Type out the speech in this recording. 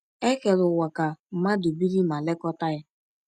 E kere ụwa ka mmadụ biri ma lekọta ya.